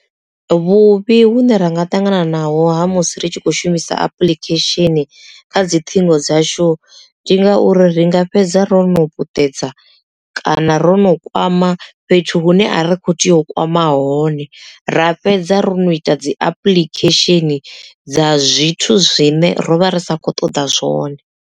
Vhuvhi hune ra nga ṱanganaho ha musi ri tshi khou shumisa apulikhesheni kha dzi ṱhingo dzashu ndi ngauri ri nga fhedza ro no puṱedza kana ro no kwama fhethu hune a ri kho tea u kwama hone ra fhedza ro no ita dzi apuḽikhesheni dza zwithu zwine rovha ri sa kho ṱoḓa zwone.